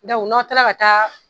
n'aw taara ka taa